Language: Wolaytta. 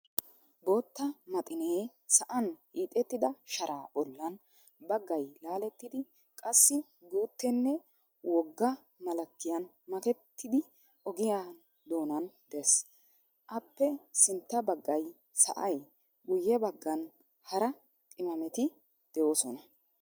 Bootta maxinee sa"an hiixettida sharaa bollan baggay laaletidi qassi guuttenne woga malekiyan maketidi ogiyan doonan dees. appe sintta baggay sa"ay guyebaggan hara qimameti deesona.